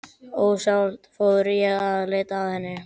Ósjálfrátt fór ég að leita að henni.